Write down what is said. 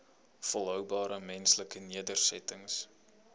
volhoubare menslike nedersettings